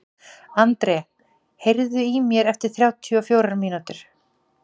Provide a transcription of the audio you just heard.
André, heyrðu í mér eftir þrjátíu og fjórar mínútur.